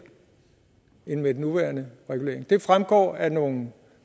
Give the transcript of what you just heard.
end med den nuværende regulering det fremgår af nogle